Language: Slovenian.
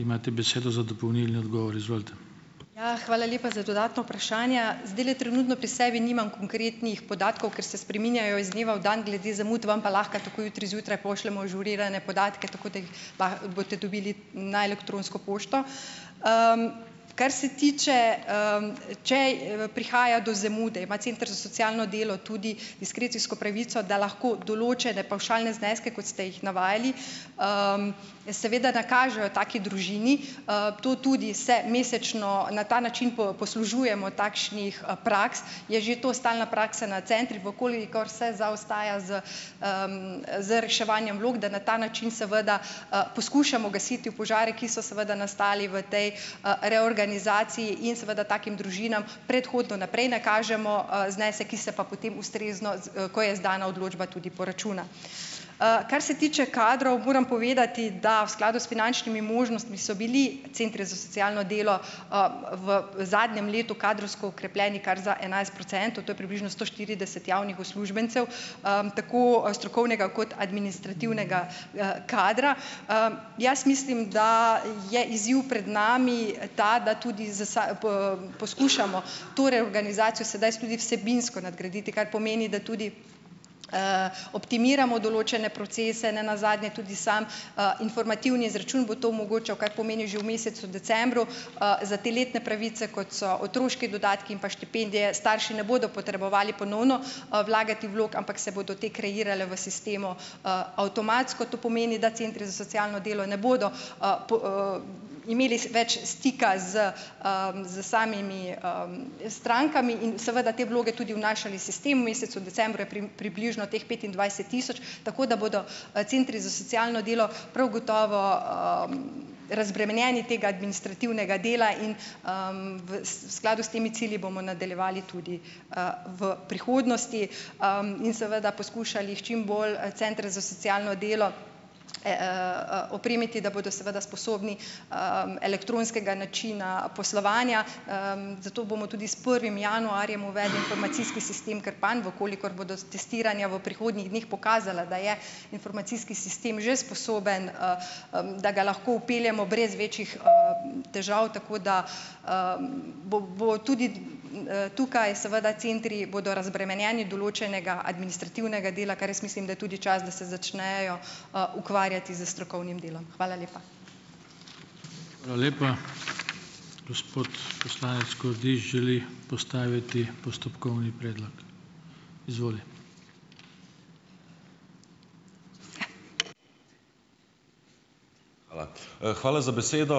Ja, hvala lepa za dodatna vprašanja. Zdajle trenutno pri sebi nimam konkretnih podatkov, ker se spreminjajo iz dneva v dan, glede zamud vam pa lahko takoj jutri zjutraj pošljemo ažurirane podatke, tako da jih boste dobili na elektronsko pošto. Kar se tiče, če, prihaja do zamude, ima center za socialno delo tudi diskrecijsko pravico, da lahko določene pavšalne zneske, kot ste jih navajali, seveda nakažejo taki družini. To tudi se mesečno na ta način poslužujemo takšnih, praks, je že to stalna praksa na centrih, v kolikor se zaostaja z, z reševanjem vlog, da na ta način seveda, poskušamo gasiti v požare, ki so seveda nastali v tej, reorganizaciji in seveda takim družinam predhodno naprej nakažemo, znesek, ki se pa potem ustrezno ko je izdana odločba, tudi poračuna. Kar se tiče kadrov, moram povedati, da v skladu s finančnimi možnostmi so bili centri za socialno delo, v zadnjem letu kadrovsko okrepljeni kar za enajst procentov, to je približno sto štirideset javnih uslužbencev, tako strokovnega kot administrativnega, kadra. Jaz mislim, da je izziv pred nami ta, da tudi z poskušamo to reorganizacijo sedaj s tudi vsebinsko nadgraditi, kar pomeni, da tudi, optimiramo določene procese, nenazadnje tudi sam, informativni izračun bo to omogočal, kar pomeni že v mesecu decembru, za te letne pravice, kot so otroški dodatki in pa štipendije, starši ne bodo potrebovali ponovno, vlagati vlog, ampak se bodo te kreirale v sistemu, avtomatsko. To pomeni, da centri za socialno delo ne bodo imeli več stika s, s samimi, strankami in seveda te vloge tudi vnašali sistem. V mesecu decembru je približno teh petindvajset tisoč, tako da bodo, centri za socialno delo prav gotovo, razbremenjeni tega administrativnega dela in, v, skladu s temi cilji bomo nadaljevali tudi, v prihodnosti, in seveda poskušali čim bolj, centre za socialno delo, opremiti, da bodo seveda sposobni, elektronskega načina poslovanja, zato bomo tudi s prvim januarjem uvedli informacijski sistem Krpan, v kolikor bodo testiranja v prihodnjih dneh pokazala, da je informacijski sistem že sposoben, da ga lahko vpeljemo brez večjih, težav, tako da, bo bo tudi, tukaj seveda centri bodo razbremenjeni določenega administrativnega dela, kar jaz mislim, da je tudi čas, da se začnejo, ukvarjati s strokovnim delom. Hvala lepa.